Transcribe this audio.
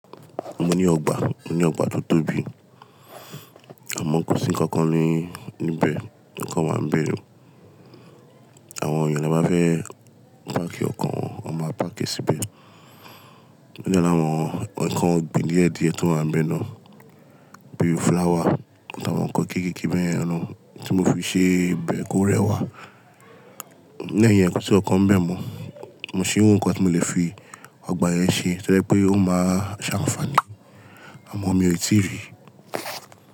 Mo ní ọgbà, mo ní ọgbà tó tóbi. A mọ̀ kó sí ǹkankan ní, níbẹ̀. Okan wà níbẹ̀ ni. Àwọn ènìyàn ná maa fẹ́ páàkì oko wọn, wọ́n máa páàkì síbẹ̀. Ode lawọ̀n ǹkan ọ̀gbìn díẹ̀díẹ̀ tó ń wà níbẹ̀ náà bi flower, tàbí àwọn ǹkan kéékèèké bẹ́ẹ̀ naa tí mo fi ṣe ibẹ̀ kó rẹwà. Ní èyin e kọ siń kankan nbẹ̀ mọ́, mo sì ń wò ǹkan tí mo lè fi ọgbà yẹn ṣe tó jẹ́ pé ó máa ṣàǹfààní àmọ́ mi ò tíì rí i.